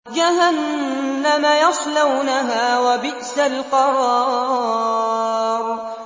جَهَنَّمَ يَصْلَوْنَهَا ۖ وَبِئْسَ الْقَرَارُ